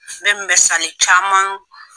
N bɛ mesali caman